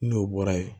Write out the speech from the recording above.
N'o bɔra ye